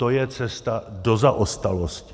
To je cesta do zaostalosti.